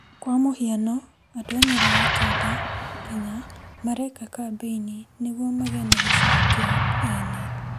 Kwa mũhiano andũ a Nyeri ya kĩanda Kenya mareka kambeini nĩguo magĩe na gĩchigo kĩao ene.